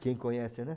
Quem conhece, né?